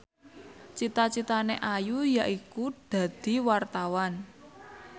cita citane Ayu yaiku dadi wartawan